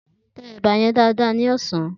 Te eba yen dáadáa ní ọ̀sán!